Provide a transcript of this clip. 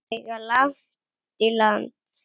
Þær eiga langt í land.